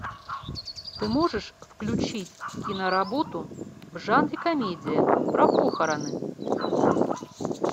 ты можешь включить киноработу в жанре комедия про похороны